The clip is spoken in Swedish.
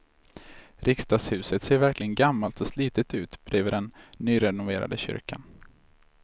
Riksdagshuset ser verkligen gammalt och slitet ut bredvid den nyrenoverade kyrkan.